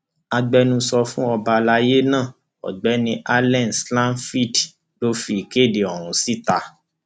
agbẹnusọ fún ọba alayé náà ọgbẹni allen zlatfield ló fi ìkéde ọhún síta